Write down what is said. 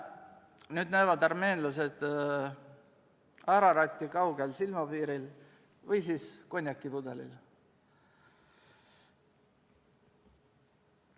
Nüüd näevad armeenlased Araratti kaugel silmapiiril või konjakipudelil.